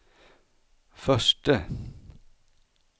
förste